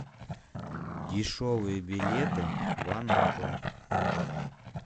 дешевые билеты в анапу